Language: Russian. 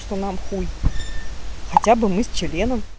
что нам хуй хотя бы мы с членом